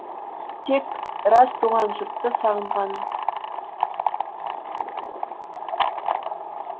тек рас туған жұртты сағынғаным